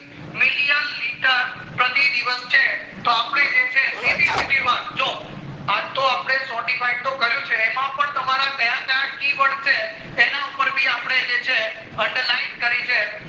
million liter પ્રતિ દિવસ છે તો અપડે જે છે સીધી સીધી વાત જો અતો અપડે sortified તો કર્યું છે એમાં પણ તમારા ક્યાં ક્યાં key word છે એના ઉપર ભી અપડે જે છે underline છે જે